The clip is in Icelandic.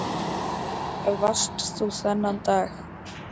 Hvar varst þú þennan dag?